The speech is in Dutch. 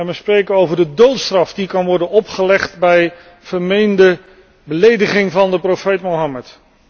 We spreken over de doodstraf die kan worden opgelegd bij vermeende belediging van de profeet Mohammed.